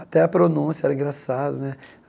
Até a pronúncia era engraçada né.